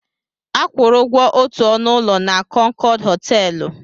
A kwụrụ ụgwọ otu ọnụ ụlọ na Kọnkọd họtelụ.